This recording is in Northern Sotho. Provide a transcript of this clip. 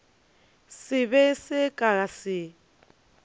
se be se ka se